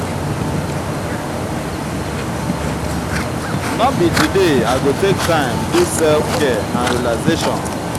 no be today i go take time do self-care and relaxation.